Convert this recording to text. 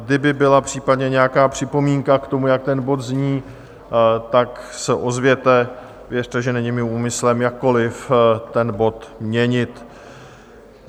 Kdyby byla případně nějaká připomínka k tomu, jak ten bod zní, tak se ozvěte, věřte, že není mým úmyslem jakkoliv ten bod měnit.